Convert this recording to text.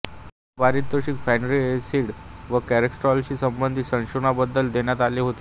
हे पारितोषिक fatty acid व कॉलेस्टेरॉलशी संबंधित संशोधनाबद्दल देण्यात आले होते